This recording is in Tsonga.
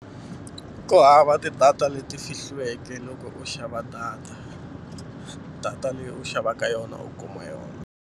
Ku hava ti-data leti fihliweke loko u xava data data leyi u xavaka yona u kuma yona.